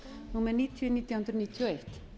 númer níutíu nítján hundruð níutíu og eitt